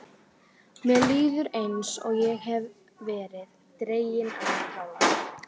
Mér líður eins og ég hafi verið dregin á tálar.